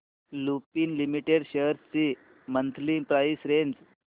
Lupin limited shares ची monthly price range